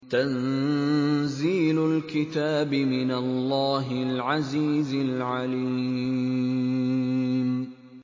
تَنزِيلُ الْكِتَابِ مِنَ اللَّهِ الْعَزِيزِ الْعَلِيمِ